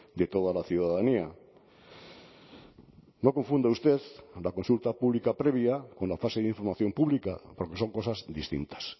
de toda la ciudadanía no confunda usted la consulta pública previa con la fase de información pública porque son cosas distintas